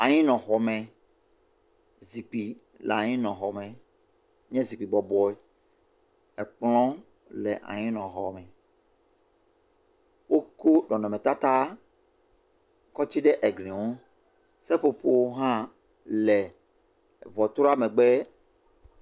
Anyinɔxɔme, zikpui le anyinɔxɔme, nye zikpui bɔbɔe ekplɔe le anyinɔxeme wokɔ nɔnɔtata kɔ tsi ɖe egli ŋu seƒoƒo aɖewo hã le ŋutsua megbe.